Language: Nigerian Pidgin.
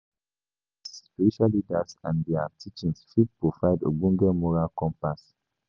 Spiritual leaders and their teachings fit provide ogbonge moral compass